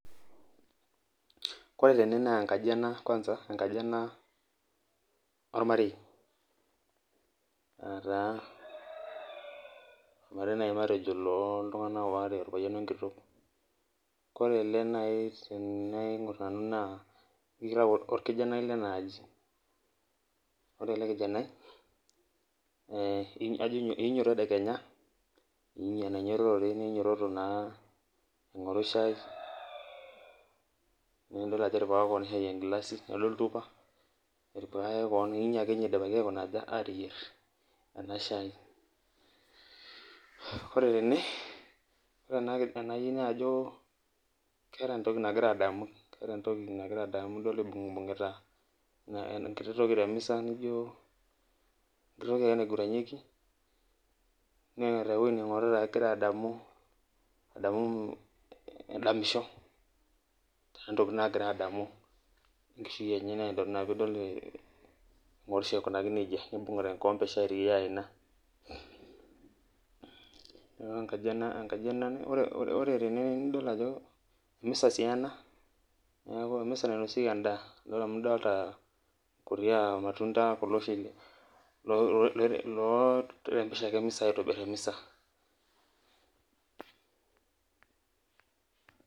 Ore tene na enkaji ena ormarei nataa ormarei nai matejo loltunganak aare orpayian wenkitok koree nai tanaingir tene na kitau orkijanai lenaaji, ore elekijanai iinyo tedekenya anainyototore ninyototo aingiri shai idol ajo etipikaka keon enkilasi lildo oltupa inyo ake ninye idipaki ateyier enashai ore tene nai najobkeeta entoki nagira adamu idol ibungita enkiti toki temisa enkiti toki naiguranieki neeta ewoi ningorita egira adamisho keeta ntokitin nagira adamu tenkishui enye ina pidol engirosho aikunaki nejia nibungita enkikombe e shai tenkaina nidolta ajo emisa ena nainosieki endaa amu idolta kuti matunda oshi oorembesha emisa .